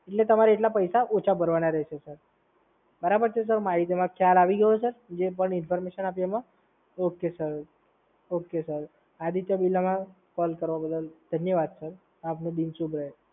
એટલે તમારે એટલા પૈસા ઓછા ભરવાના રહેશે, સર. બરાબર છે સર? માહિતીમાં ખ્યાલ આવી ગયો સર? જે પણ ઇન્ફોર્મેશન આપી એમાં? Okay sir, okay sir. Aditya બિરલમાં કોલ કરવા બદલ ધન્યવાદ સર. આપનો દિન શુભ રહે.